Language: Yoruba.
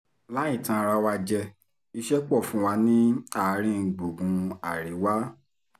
láì tan ara wa jẹ iṣẹ́ pọ̀ fún wa ní àárín gbùngbùn àríwá